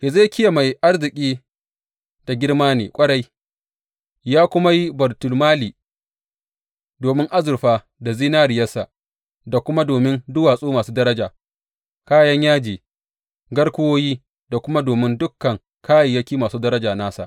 Hezekiya mai arziki da girma ne ƙwarai, ya kuma yi baitulmali domin azurfa da zinariyarsa da kuma domin duwatsu masu daraja, kayan yaji, garkuwoyi da kuma domin dukan kayayyaki masu daraja nasa.